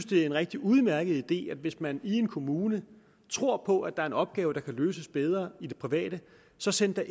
det er en rigtig udmærket idé at man hvis man i en kommune tror på at der er en opgave der kan løses bedre i det private så sender